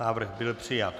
Návrh byl přijat.